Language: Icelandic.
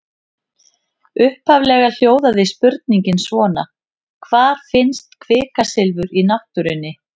Upphaflega hljóðaði spurningin svona: Hvar finnst kvikasilfur í náttúrunni?